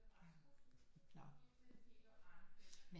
Nå men